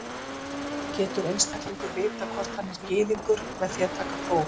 Getur einstaklingur vitað hvort hann er Gyðingur með því að taka próf?